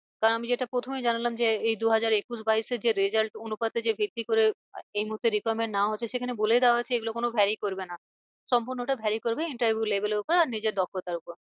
কারণ আমি যেটা প্রথমেই জানালাম যে এই দু হাজার একুশ বাইশ এ যে result অনুপাতে যে ভিত্তি করে এই মুহূর্তে requirement না হচ্ছে সেখানে বলে দেওয়া যাচ্ছে এগুলো কোনো Vary করবে না। সম্পূর্ণটা vary করবে interview level এর উপর আর নিজের দক্ষতার উপর।